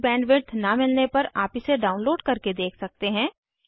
अच्छी बैंडविड्थ न मिलने पर आप इसे डाउनलोड करके देख सकते हैं